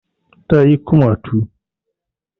Ta yi kumatu